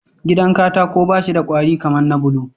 Gidan katako bashi da kwari kaman na bulo